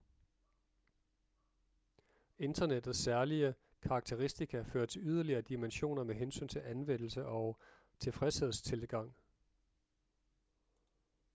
internettets særlige karakteristika fører til yderligere dimensioner med hensyn til anvendelse og tilfredshedstilgang